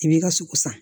I b'i ka sogo san